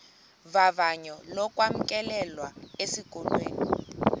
vavanyo lokwamkelwa esikolweni